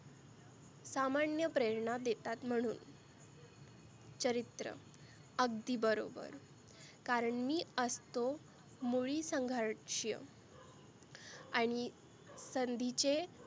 सामान्य प्रेरणा देतात म्हणुन चरित्र अगदी बरोबर. कारण मी असतो मुळीसंघर्च आणि संधीचे